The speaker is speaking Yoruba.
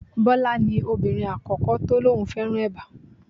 Bọlá ni obìnrin àkọ́kọ́ tó ní òun fẹ́ràn eba.